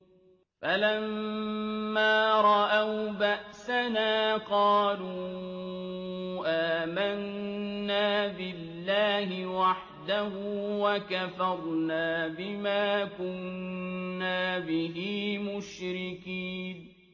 فَلَمَّا رَأَوْا بَأْسَنَا قَالُوا آمَنَّا بِاللَّهِ وَحْدَهُ وَكَفَرْنَا بِمَا كُنَّا بِهِ مُشْرِكِينَ